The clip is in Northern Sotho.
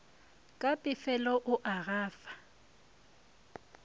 ka pefelo o a gafa